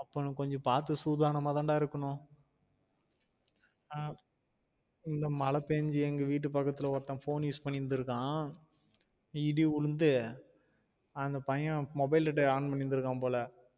அப்போ நம்ம கொஞ்சம் பாத்து சூதானமா தான் டா இருக்கணும் அஹ் இந்த மழ பேன்சி எங்க வீட்டு பக்கத்துல ஒருத்தன் phone use பண்ணிருந்திர்கான் இடி உழுந்து அந்த பையன் mobile data on பண்ணிருந்திக்கான் போல